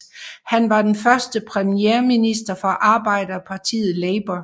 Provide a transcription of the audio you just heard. Han var den første premierminister fra arbejderpartiet Labour